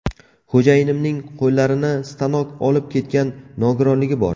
Xo‘jayinimning qo‘llarini stanok olib ketgan nogironligi bor.